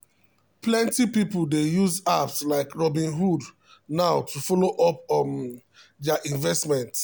plenty people dey use apps like robinhood now to follow up um their investment.